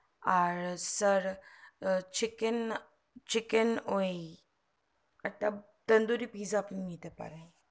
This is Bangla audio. আর sir chicken chicken ওই একটা chicken tandoori pice আপনি নিতে পারেন